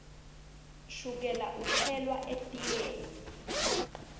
shukela utselwa etiyeni